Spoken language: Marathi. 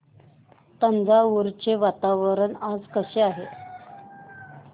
तंजावुर चे वातावरण आज कसे आहे